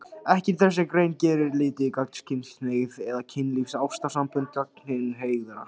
Ekkert í þessari grein gerir lítið úr gagnkynhneigð eða kynlífs- og ástarsamböndum gagnkynhneigðra.